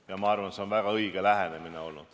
– ja ma arvan, et see on olnud väga õige lähenemine.